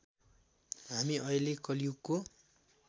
हामी अहिले कलियुगको